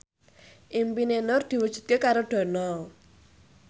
impine Nur diwujudke karo Dono